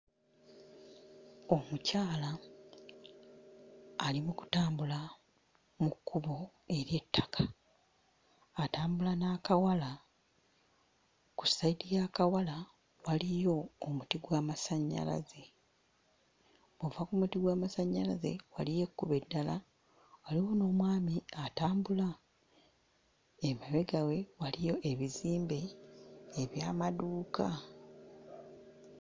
Omukyala ali mu kutambula mu kkubo ery'ettaka. Atambula n'akawala, ku sayidi y'akawala waliyo omuti gw'amasannyalaze. Bw'ova ku muti gw'amasannyalaze waliyo ekkubo eddala, waliyo n'omwami atambula. Emabega we waliyo ebizimbe eby'amaduuka.